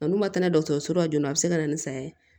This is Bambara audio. A n'u ma taa n'a ye dɔgɔtɔrɔso la joona a bɛ se ka na ni saya ye